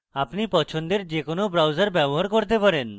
আপনি পছন্দের যে কোনো browser ব্যবহার করতে পারেন